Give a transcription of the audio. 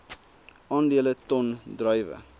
aandele ton druiwe